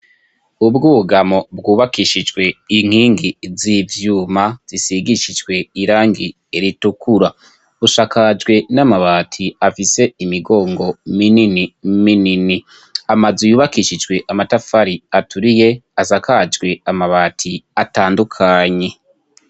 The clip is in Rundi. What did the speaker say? Ubwugamo bwubakishijwe inkingi z'ivyuma zisigishijwe irangi ritukura bushakajwe n'amabati afise imigongo minini minini amazu yubakishijwe amatafari aturiye asakajwe amabati atandukanye.